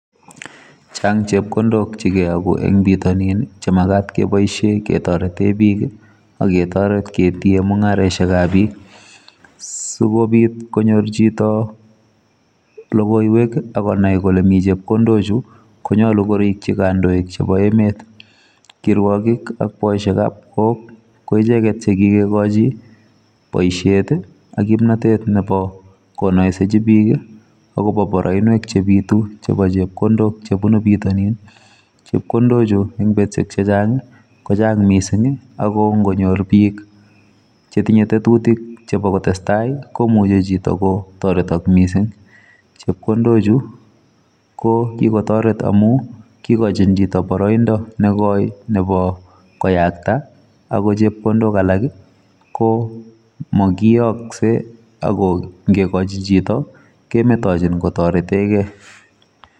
Chang chepkondok chegiyagiu Eng bitanii chekeyaguu kopaisheee biik Eng emet kotugul. kikachiin peeeek kotaretegeee Eng poishonik kwaaak simanyalilso pichotok